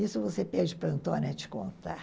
Isso você pede para Antônia te contar.